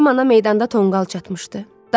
Kamana meydanda tonqal çatmışdı.